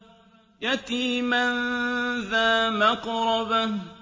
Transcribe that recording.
يَتِيمًا ذَا مَقْرَبَةٍ